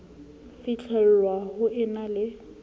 fihlellwang ho e na le